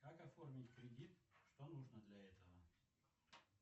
как оформить кредит что нужно для этого